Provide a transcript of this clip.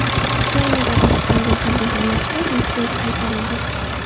Ukrainada adashib qolgan harbiy xizmatchilar Rossiyaga qaytarildi.